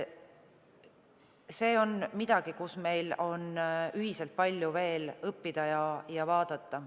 See on midagi, mille kohta on meil veel palju õppida.